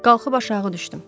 Qalxıb aşağı düşdüm.